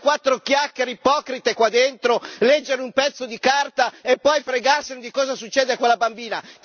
Non fare quattro chiacchiere ipocrite qua dentro, leggere un pezzo di carta e poi fregarsene di cosa succede a quella bambina.